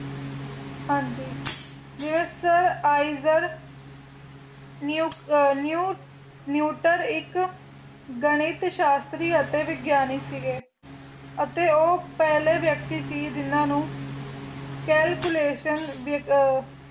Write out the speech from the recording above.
ਗਣਿਤ ਸ਼ਾਸਤਰੀ ਅਤੇ ਵਿਗਿਆਨਿਕ ਸੀਗੇ ਤੇ ਉਹ ਪਹਿਲੇ ਵਿਅਕਤੀ ਸੀ ਜਿਨ੍ਹਾ ਨੂੰ calculation